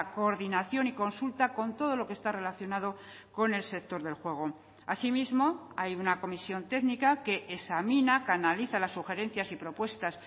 coordinación y consulta con todo lo que está relacionado con el sector del juego asimismo hay una comisión técnica que examina canaliza las sugerencias y propuestas